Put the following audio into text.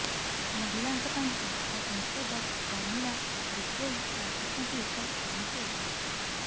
ମହିଳାଙ୍କ ପାଇଁ ଆସ୍କା ସାଂସଦ ପ୍ରମିଳା ବିଷୋୟୀ ପାଲଟିଛନ୍ତି ଏକ ପ୍ରମୁଖ ଉଦାହରଣ